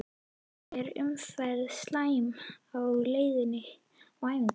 Er umferðin slæm á leiðinni á æfingu?